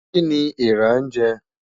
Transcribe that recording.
Kí ni eèrà ń jẹ?